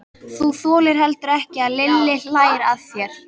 Þú þolir heldur ekki að Lilli hlæi að þér.